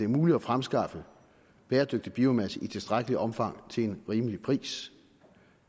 muligt at fremskaffe bæredygtig biomasse i tilstrækkeligt omfang til en rimelig pris